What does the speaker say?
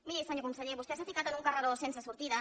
miri senyor conseller vostè s’ha ficat en un carreró sense sortida